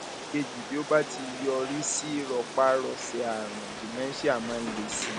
ìkejì bí ó bá ti yọrí sí rọpárọsẹ àrùn dementia máa ń le sí i